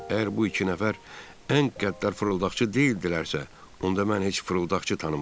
Əgər bu iki nəfər ən qəddar fırıldaqçı deyildilərsə, onda mən heç fırıldaqçı tanımıram.